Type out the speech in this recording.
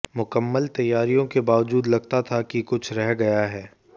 मुकम्मल तैयारियों के बावजूद लगता था कि कुछ रह गया है